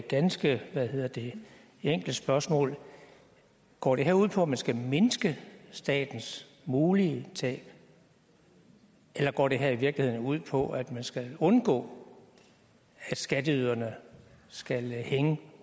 ganske enkle spørgsmål går det her ud på at man skal mindske statens mulige tab eller går det her i virkeligheden ud på at man skal undgå at skatteyderne skal hænge